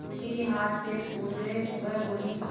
उर्मी के हाथ पैर फूल गए वह बोली